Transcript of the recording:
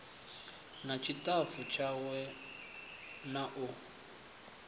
na ṱshitafu tshawe na u